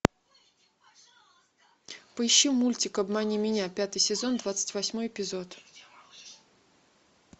поищи мультик обмани меня пятый сезон двадцать восьмой эпизод